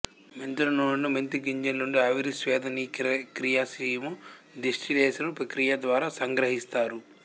మెంతుల నూనెను మెంతి గింజల నుండి ఆవిరి స్వేదనక్రియస్టీము డిస్టిలేసను ప్రక్రియ ద్వారా సంగ్రహిస్తారు